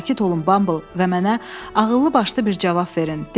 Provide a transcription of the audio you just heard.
Sakit olun Bumble və mənə ağıllı başlı bir cavab verin.